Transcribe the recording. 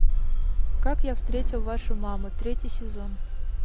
как я встретил вашу маму третий сезон